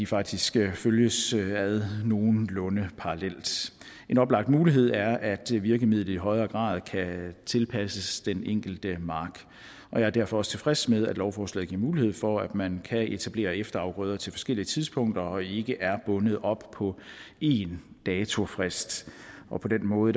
faktisk følges ad nogenlunde parallelt en oplagt mulighed er at virkemidlet i højere grad kan tilpasses den enkelte mark og jeg er derfor også tilfreds med at lovforslaget giver mulighed for at man kan etablere efterafgrøder til forskellige tidspunkter og ikke er bundet op på én datofrist på den måde